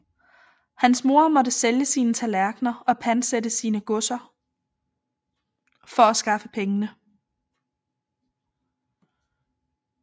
Hans mor måtte sælge sine tallerkener og pantsætte sine godser for at skaffe pengene